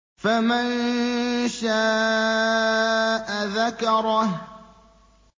فَمَن شَاءَ ذَكَرَهُ